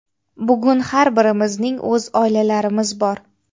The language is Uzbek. Bugun har birimizning o‘z oilalarimiz bor.